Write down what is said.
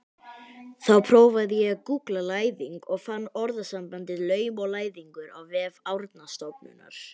Þá prófaði ég að gúggla læðing og fann orðasambandið laum og læðingur á vef Árnastofnunar.